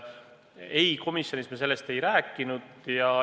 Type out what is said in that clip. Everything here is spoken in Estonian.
Ei, komisjonis me sellest ei rääkinud.